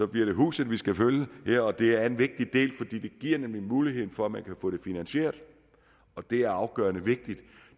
bliver det huset vi skal følge og det er en vigtig del det giver nemlig en mulighed for man kan få det finansieret og det er afgørende vigtigt